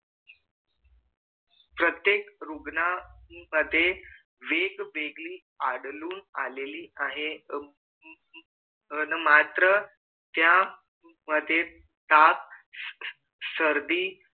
प्रत्येक रुग्णामध्ये वेगवेगळी आढळून आलेली आहेत मात्र त्या मध्ये ताप सर्दी